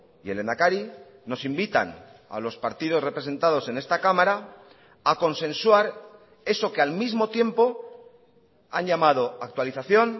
y el lehendakari nos invitan a los partidos representados en esta cámara a consensuar eso que al mismo tiempo han llamado actualización